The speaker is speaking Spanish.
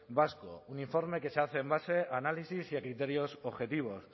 vasco un informe que se hace en base a análisis y a criterios objetivos